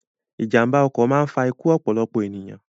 Ìjàmba ọkọ̀ máa ń fa ikú ọ̀pọ̀lọpọ̀ ènìyàn